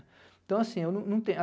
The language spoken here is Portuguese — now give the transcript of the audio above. Então, assim, eu eu não tenho.